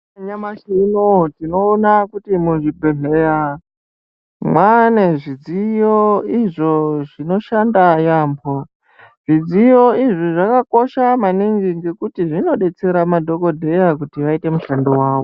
Nyamashi unouyu tinoona kuti muzvibhedhleya mwane zvidziyo izvo zvinoshanda yaamho. Zvidziyo izvi zvakakosha maningi ngekuti zvinobetsera madhogodheya kuti vaite mushando vavo.